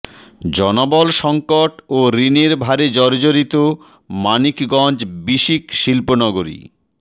জনবল সংকট ও ঋণের ভারে জর্জরিত মানিকগঞ্জ বিসিক শিল্পনগরী